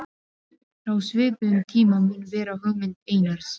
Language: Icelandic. Frá svipuðum tíma mun vera hugmynd Einars